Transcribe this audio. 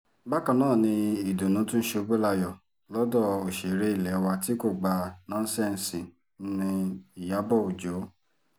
bákan náà ni ìdùnnú tún ṣubú layọ̀ lọ́dọ̀ òṣèré ilé wa tí kò gba nọ́ńsẹ́ǹsì nni ìyàbọ̀ ọjọ́